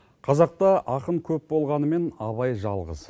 қазақта ақын көп болғанымен абай жалғыз